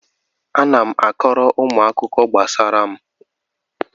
Ana m akọọrọ ụmụaka akụkọ gbasara onwe m